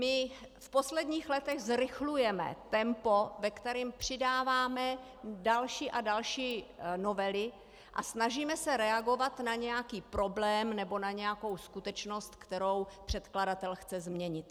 My v posledních letech zrychlujeme tempo, ve kterém přidáváme další a další novely a snažíme se reagovat na nějaký problém nebo na nějakou skutečnost, kterou předkladatel chce změnit.